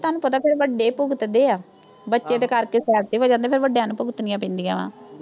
ਤੁਹਾਨੂੰ ਪਤਾ ਫਿਰ, ਵੱਡੇ ਈ ਭੁਗਤਦੇ ਆ, ਬੱਚੇ ਤਾਂ ਕਰਕੇ side ਤੇ ਹੋ ਜਾਂਦੇ, ਤੇ ਫਿਰ ਵੱਡਿਆਂ ਨੂੰ ਭੁਗਤਣੀਆਂ ਪੈਂਦੀਆਂ ਵਾਂ।